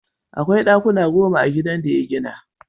Akwai ɗakuna goma a gidan da ya gina.